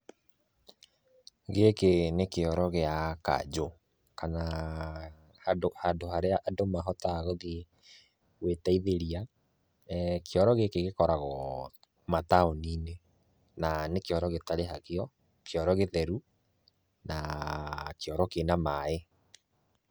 Gĩkĩ nĩ kĩoro gĩa kanjũ kana handũ harĩa andũ mahotaga gũthiĩ gwĩteithĩria. Kĩoro gĩkĩ gĩkoragwo mataũni-inĩ na nĩ kĩoro gĩtarĩhagio, kĩoro gĩtheru na kĩoro kĩna maaĩ.